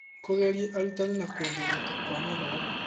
Kũgeria arutani na kuongereka kwa mathomo.